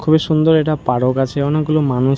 খুবই সুন্দর একটা পারক আছে | অনেকগুলো মানুষ--